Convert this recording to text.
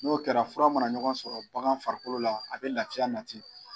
N'o kɛra fura mana ɲɔgɔn sɔrɔ bagan farikolo la a bɛ laya nati